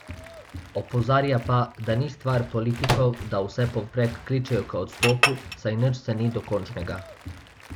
Opozarja pa, da ni stvar politikov, da vsepovprek kličejo k odstopu, saj nič še ni dokončnega.